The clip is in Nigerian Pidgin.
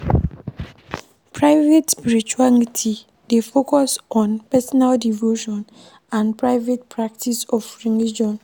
Private spirituality dey focus on personal devotion and private practice of religion